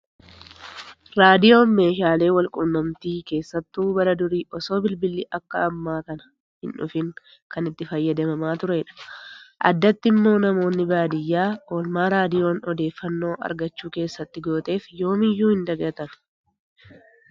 Raadiyoon meeshaalee walquunnamtii keessattuu bara durii osoo bilbilli akka ammaa kana hin dhufiin kan itti fayyadamamaa turedha. Addatti immoo namoonni baadiyyaa oolmaa raadiyoon odeeffannoo argachuu keessatti gooteef yoomiyyuu hin dagatani